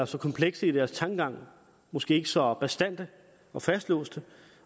så komplekse i deres tankegang måske ikke så bastante og fastlåste